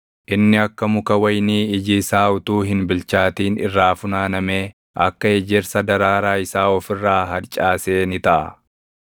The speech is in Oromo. Inni akka muka wayinii iji isaa utuu hin bilchaatin irraa funaanamee, akka ejersa daraaraa isaa of irraa harcaasee ni taʼa.